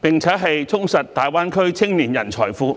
並充實大灣區青年人才庫。